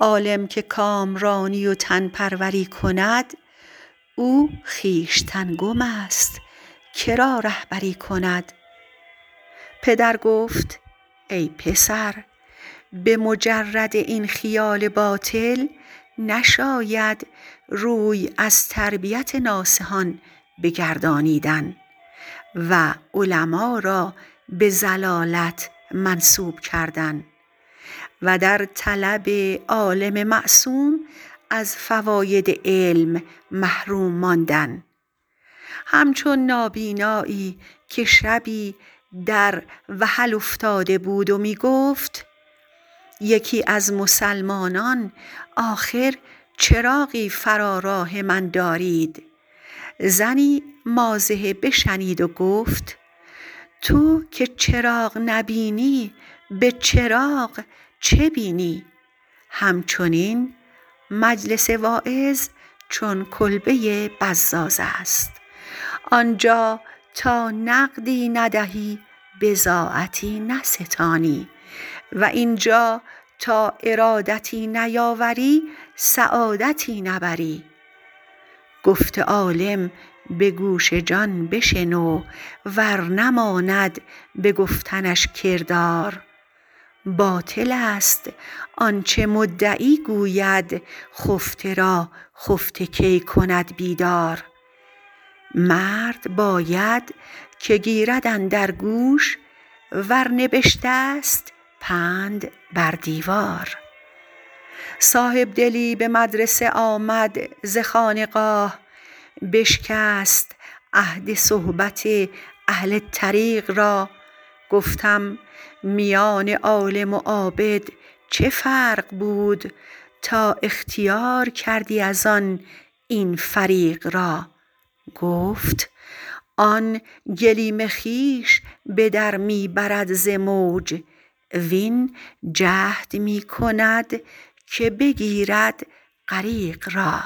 عالم که کامرانی و تن پروری کند او خویشتن گم است که را رهبری کند پدر گفت ای پسر به مجرد خیال باطل نشاید روی از تربیت ناصحان بگردانیدن و علما را به ضلالت منسوب کردن و در طلب عالم معصوم از فواید علم محروم ماندن همچو نابینایی که شبی در وحل افتاده بود و می گفت آخر یکی از مسلمانان چراغی فرا راه من دارید زنی مازحه بشنید و گفت تو که چراغ نبینی به چراغ چه بینی همچنین مجلس وعظ چو کلبه بزاز است آنجا تا نقدی ندهی بضاعتی نستانی و اینجا تا ارادتی نیاری سعادتی نبری گفت عالم به گوش جان بشنو ور نماند به گفتنش کردار باطل است آنچه مدعی گوید خفته را خفته کی کند بیدار مرد باید که گیرد اندر گوش ور نوشته است پند بر دیوار صاحبدلی به مدرسه آمد ز خانقاه بشکست عهد صحبت اهل طریق را گفتم میان عالم و عابد چه فرق بود تا اختیار کردی از آن این فریق را گفت آن گلیم خویش به در می برد ز موج وین جهد می کند که بگیرد غریق را